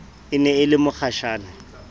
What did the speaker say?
e ne e le mokgashane